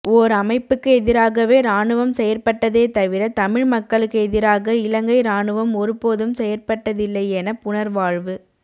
ஓர் அமைப்புக்கு எதிராகவே இராணுவம் செயற்பட்டதே தவிர தமிழ் மக்களுக்கு எதிராக இலங்கை இராணுவம் ஒரு போதும் செயற்பட்டதில்லையென புனர்வாழ்வு